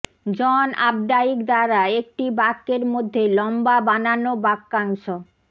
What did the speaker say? জন Updike দ্বারা একটি বাক্যের মধ্যে লম্বা বানানো বাক্যাংশ